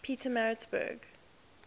pietermaritzburg